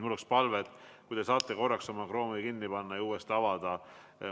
Mul on palve, et äkki te saate korraks oma Chrome'i kinni panna ja seejärel uuesti avada.